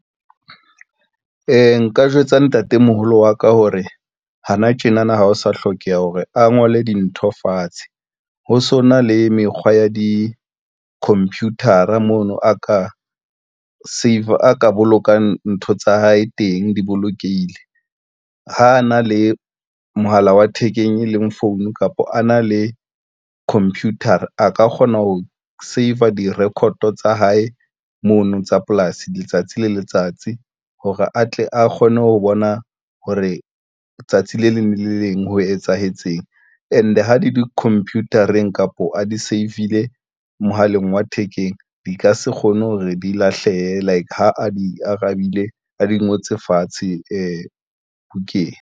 Nka jwetsa ntatemoholo wa ka hore hana tjena na, ha ho sa hlokeha hore a ngole dintho fatshe ho sona le mekgwa ya di-computer-a maano a ka saver a ka bolokang ntho tsa hae teng di bolokehile. Ha na le mohala wa thekeng e leng phone kapa a na le computer-a ka kgona ho save a di-record tsa hae mono tsa polasi letsatsi le letsatsi hore atle a kgone ho bona hore tsatsi le leng le le leng ho etsahetseng and ha di compute-eng kapo a di save-ile mohaleng wa thekeng di ka se kgone hore di lahlehe like ha a di arabile, a di ngotse fatshe bukeng.